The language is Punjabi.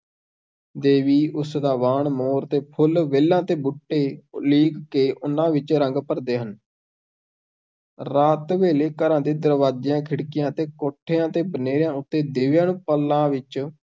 ਦੇਵੀ, ਉਸ ਦਾ ਵਾਹਨ ਮੋਰ ਅਤੇ ਫੁੱਲ, ਵੇਲਾਂ ਤੇ ਬੂਟੇ ਉਲੀਕ ਕੇ, ਉਹਨਾਂ ਵਿੱਚ ਰੰਗ ਭਰਦੇ ਹਨ ਰਾਤ ਵੇਲੇ, ਘਰਾਂ ਦੇ ਦਰਵਾਜ਼ਿਆਂ, ਖਿੜਕੀਆਂ ਅਤੇ ਕੋਠਿਆਂ ਦੇ ਬਨੇਰਿਆਂ ਉੱਤੇ, ਦੀਵਿਆਂ ਨੂੰ ਪਾਲਾਂ ਵਿੱਚ